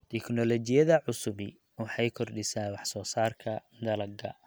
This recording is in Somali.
Tiknoolajiyada cusubi waxay kordhisaa wax soo saarka dalagga.